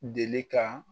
Deli ka